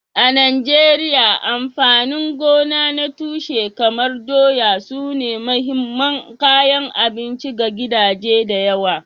A Najeriya, amfanin gona na tushe kamar doya sune mahimman kayan abinci ga gidaje da yawa.